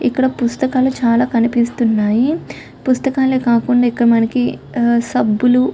ఇక్కడ పుస్తకాలు చాల కనిపిస్తున్నాయి. పుస్తకాలు కాకుండా ఇక్కడ మనకి సబ్బులు --